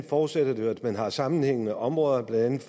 forudsætter det jo at man har sammenhængende områder blandt